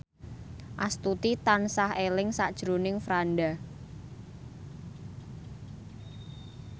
Astuti tansah eling sakjroning Franda